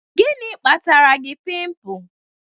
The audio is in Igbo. Gini kpatara gi pịmpul?